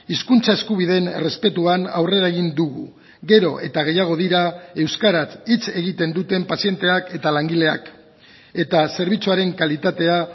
hizkuntza eskubideen errespetuan aurrera egin dugu gero eta gehiago dira euskaraz hitz egiten duten pazienteak eta langileak eta zerbitzuaren kalitatea